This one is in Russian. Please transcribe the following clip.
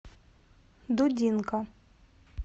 дудинка